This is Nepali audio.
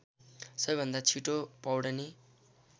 सबैभन्दा छिटो पौड्ने